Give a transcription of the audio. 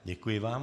Děkuji vám.